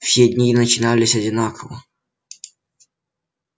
все дни начинались одинаково